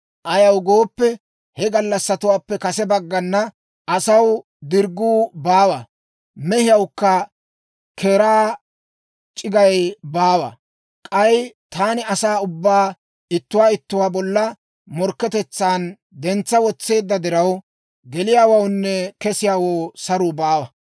Ayaw gooppe, he gallassatuwaappe kase baggan asaw dirgguu baawa; mehiyawukka keraa c'iggay baawa; k'ay taani asaa ubbaa ittuwaa ittuwaa bolla morkketetsaan dentsa wotseedda diraw, geliyaawawunne kesiyaawoo saruu baawa.